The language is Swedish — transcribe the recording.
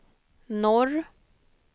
norr